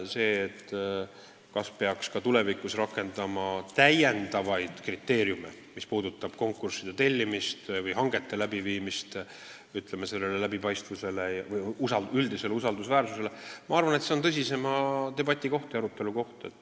See, kas peaks tulevikus konkursside korraldamisel ja hangete läbiviimisel rakendama täiendavaid kriteeriume usaldusväärsuse ja läbipaistvuse tagamiseks, on minu arvates tõsisema debati teema.